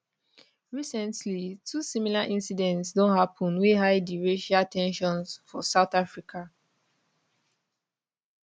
recently two similar incidents don happen wey high di racial ten sions for south africa